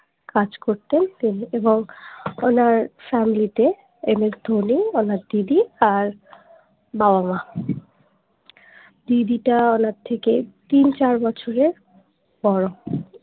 কাজ করতেন তিনি এবং ওনার family তে MS ধোনি ওনার দিদি আর বাবা মা দিদিটা ওনার থেকে তিন চার বছরের বড়